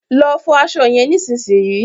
Lọ fọ aṣọ yẹn nísinsìnyí